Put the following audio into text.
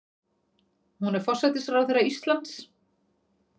Hún er forsætisráðherra Íslands.